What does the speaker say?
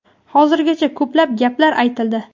Hozirgacha ko‘plab gaplar aytildi.